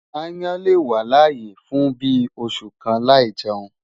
Aáyán lè wà láyé fún bíi oṣù kan láì jẹun.